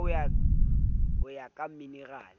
ka ho ya ka minerale